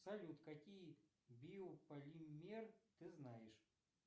салют какие биополимеры ты знаешь